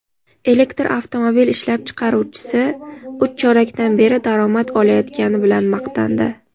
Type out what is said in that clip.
elektr avtomobil ishlab chiqaruvchisi uch chorakdan beri daromad olayotgani bilan maqtandi.